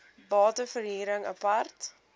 bate verhuring apart